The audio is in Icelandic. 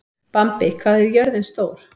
Bambi, hvað er jörðin stór?